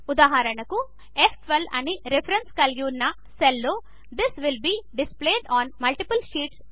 ఉదాహరణకు ఫ్12 అని రిఫరెన్స్ కలిగిన సెల్లో this will be displayed on multiple sheets